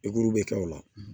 bɛ kɛ o la